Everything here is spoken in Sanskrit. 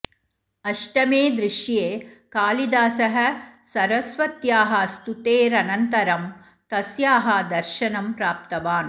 अष्टमे दृश्ये कालिदासः सरस्वत्याः स्तुतेरनन्तरं तस्याः दर्शनं प्राप्तवान्